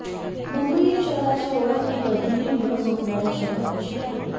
मुंबई या शहराची ओळख ही कधीही न झोपणारं शहरं अशी आहे